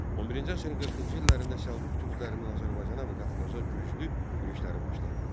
11-ci əsrin 40-cı illərində Səlcuq türklərindən Azərbaycana və Qafqaza güclü yürüşləri başladı.